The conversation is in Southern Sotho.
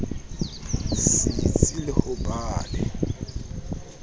setsi le ho ba le